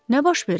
Nə baş verib?